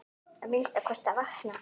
Að minnsta kosti að vakna.